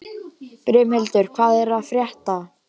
Brimhildur, hvað er að frétta?